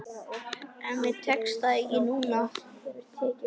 En mér tekst það ekki núna.